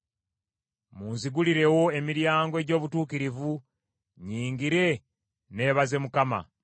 Munzigulirewo emiryango egy’obutuukirivu, nnyingire, neebaze Mukama .